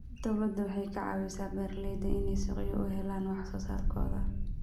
Dawladdu waxay ka caawisaa beeralayda inay suuqyo u helaan wax soo saarkooda.